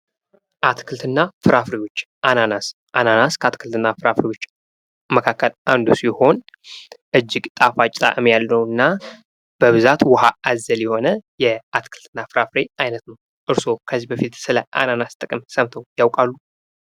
አትክልትና ፍራፍሬዎች አናናስ፡- አናናስ ከአትክልት እና ፍራፍሬዎች መካከል አንዱ ሲሆን እጅግ ጣፋጭ ጣዕም ያለውና በብዛት ውሃ አዘል የሆነ የአትክልትና ፍራፍሬ አይነት ነው። እርሶ ከዚህ በፊት ስለ አናናስ ጥቅም ሰምተው ያውቃሉ።